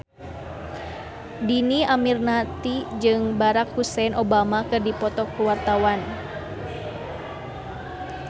Dhini Aminarti jeung Barack Hussein Obama keur dipoto ku wartawan